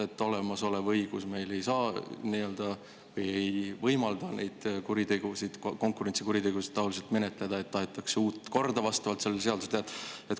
Kuna meie olemasolev õigus ei võimalda neid konkurentsikuritegusid selletaoliselt menetleda, tahetakse vastavalt sellele seadusele luua uut korda.